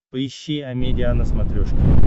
поищи амедиа на смотрешке